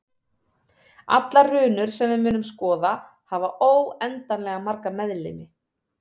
Allar runur sem við munum skoða hafa óendanlega marga meðlimi.